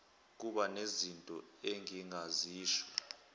kuba nezinto engingazisho